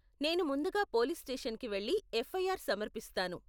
నేను ముందుగా పోలీస్ స్టేషన్కి వెళ్లి ఎఫ్ఐఆర్ సమర్పిస్తాను.